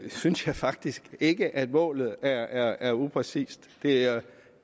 synes jeg faktisk ikke at målet er er upræcist det er